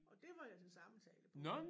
Og det var jeg til samtale på